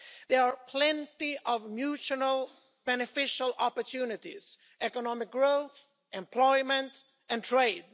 There are plenty of mutually beneficial opportunities economic growth, employment and trade.